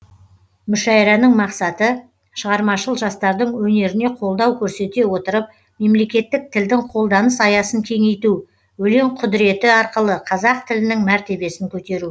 мүшәйраның мақсаты шығармашыл жастардың өнеріне қолдау көрсете отырып мемлекеттік тілдің қолданыс аясын кеңейту өлең құдыреті арқылы қазақ тілінің мәртебесін көтеру